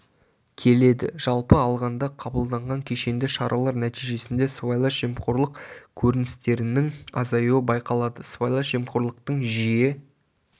келеді жалпы алғанда қабылданған кешенді шаралар нәтижесінде сыбайлас жемқорлық көрністерінің азаюы байқалады сыбайлас жемқорлықтың жиі